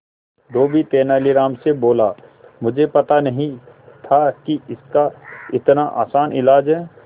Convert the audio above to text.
धोबी तेनालीराम से बोला मुझे पता नहीं था कि इसका इतना आसान इलाज है